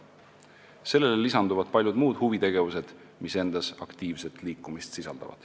Sellele lisanduvad paljud muud huvitegevused, mis sisaldavad aktiivset liikumist.